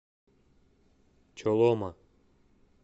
чолома